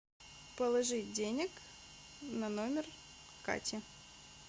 положить денег на номер кати